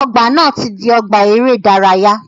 Ọgbà na ti di ọgbà eré ìdárayá.